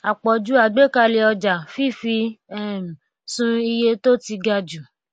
àpòjù àgbékalè ọjà fífi um sun iye tó ti ga jù